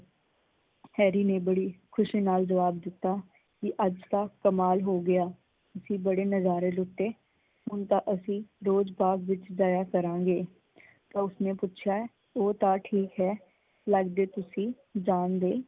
Harry ਨੇ ਬੜੀ ਖੁਸ਼ੀ ਨਾਲ ਜਵਾਬ ਦਿੱਤਾ ਕੀ ਅੱਜ ਤਾਂ ਕਮਾਲ ਹੋ ਗਿਆ ਅਸੀਂ ਬੜੇ ਨਜ਼ਾਰੇ ਲੁੱਟੇ। ਹੁਣ ਤਾਂ ਅਸੀਂ ਰੋਜ਼ ਬਾਗ਼ ਵਿੱਚ ਜਾਇਆ ਕਰਾਂਗੇ ਤਾਂ ਉਸਨੇ ਪੁੱਛਿਆ ਓਹ ਤਾਂ ਠੀਕ ਏ ਲੱਗਦੇ ਤੁਸੀਂ ਜਾਣ ਦੇ।